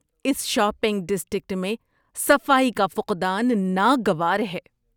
اس shopping district میں صفائی کا فقدان ناگوار ہے۔